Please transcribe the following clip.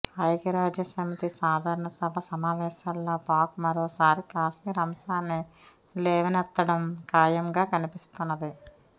ఐక్యరాజ్య సమితి సాధారణ సభ సమావేశాల్లో పాక్ మరోసారి కాశ్మీర్ అంశాన్ని లేవనెత్తడం ఖాయంగా కనిపిస్తున్నది